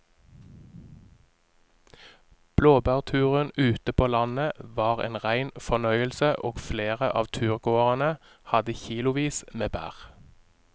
Blåbærturen ute på landet var en rein fornøyelse og flere av turgåerene hadde kilosvis med bær.